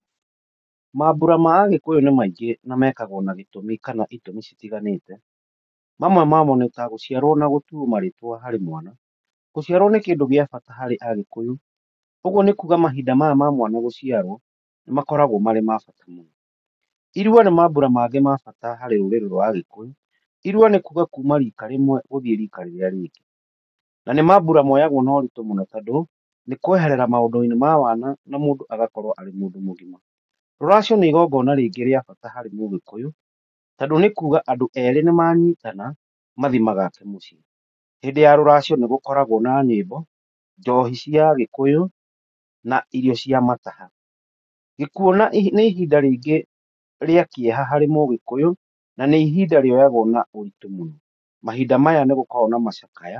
Mambura ma Agĩkũyũ nĩ maingĩ na mekagwo na ĩtũmi citiganĩte, mamwe mamo nĩ gũciarwo na gũtuwo marĩtwa harĩ mwana, gũciarwo nĩ ũndũ wa bata mũno harĩ Agĩkũyũ. Ũguo nĩ kũga mambura ma mwana gũciarwo, nĩ makoragwo me ma bata biũ. Ĩrua nĩ mambura mangĩ makoragwo marĩ ma bata harĩ rũrĩrĩ rwa agĩkũyũ, irua nĩ kuma rika rĩmwe gũtjiĩ rĩrĩa rĩngĩ. Na nĩ mambura moyagwo na ũritũ mũno tondũ nĩ mũndũ kweherera rika rĩmwe agathiĩ rika rĩngĩ. Rũracio nĩ igongona rĩngĩ rĩa bata harĩ agĩkũyũ tondũ nĩ kuga andũ nĩ manyitana mathiĩ magake mũciĩ. Hĩndĩ ya rũracio nĩ gũkoragwo na nyiĩmbo, njohi na irio cĩa mataha . Gĩkuũ nĩ ihinda rĩngĩ rĩa kĩeha harĩ mũgĩkũyũ, na nĩ ihinda rĩoyagwo na ũritũ mũno. Mahinda maya nĩ gũkoragwo na macakaya.